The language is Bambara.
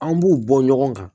An b'u bɔ ɲɔgɔn kan